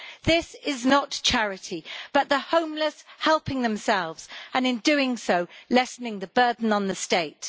This is not charity but the homeless helping themselves, and in doing so, lessening the burden on the state.